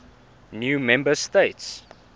new member states